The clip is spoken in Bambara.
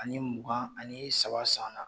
Ani mugan ani saba san